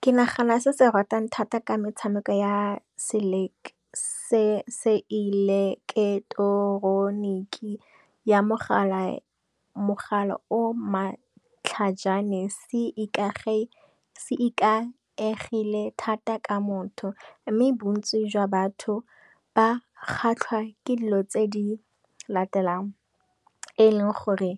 ke nagana se se ratang thata ka metshameko ya se eleketroniki ya mogala o matlhajana se ikaegile thata ka motho, mme bontsi jwa batho ba kgatlhwa ke dilo tse di latelang. E e leng gore